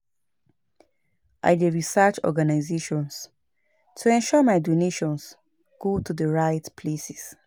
I dey research organizations to ensure my donations go to the right places.